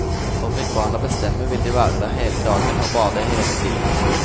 For fikk barna bestemme vil de være der hele dagen og bade hele tiden.